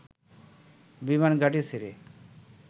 বিমান ঘাঁটি ছেড়ে